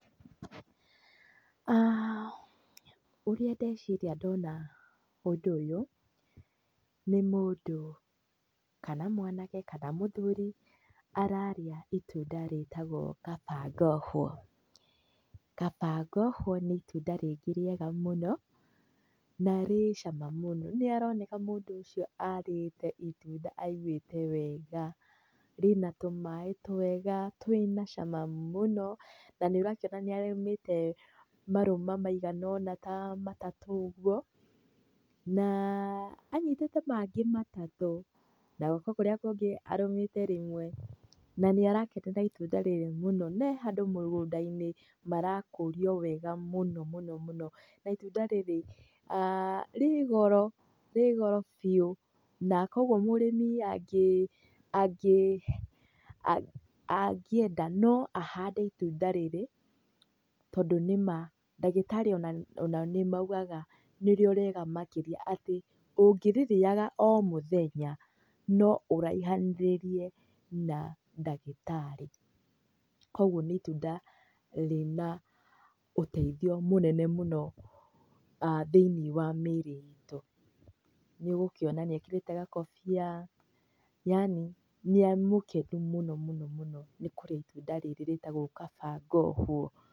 Ũrĩa ndeciria ndona ũndũ ũyũ nĩ mũndũ kana mwanake, kana mũthuri, ararĩa ĩtunda rĩtagwo kaba ngohwo. Kaba ngohwo nĩ ĩtunda rĩngĩ rĩega mũno na rĩu cama mũno. Nĩ aroneka mũndũ ũcio arĩte ĩtunda aĩguĩte wega rĩna tũmaĩ twega twĩna cama mũno na nĩ ũrakĩona nĩ arũmĩtemarũma maĩganaũna ta matũ ũguo na anyitĩte mangĩ matatũ, na guoko kũrĩa kũngĩ arũmĩte rĩmwe na nĩ arakenera ĩtunda rĩu mũno. Na ehandũ mũgũnda-inĩ marakũrio wega mũno mũno. Na ĩtunda rĩrĩ rĩ goro biũ na koguo mũrĩmi angĩenda no ahande ĩtunda rĩrĩ tondũ nĩ ma ndagĩtarĩ onao nĩ maũgaga nĩrĩo rĩega makĩria, atĩ ũngĩ rĩrĩa o mũthemba no ũraihanĩrĩrie na ndagĩtarĩ. Koguo nĩ ĩtunda rĩna ũteithio mũnene mũno thĩiniĩ wa mwĩrĩ ĩtũ. Nĩũgũkĩona nĩ ekĩrĩte gakũbĩa yanĩ nĩ mũkenu mũno mũno nĩ kũrĩa ĩtunda rĩrĩ rĩtagwo kaba ngohwo.